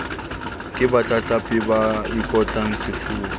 ke batlatlapi ba ikotlang sefuba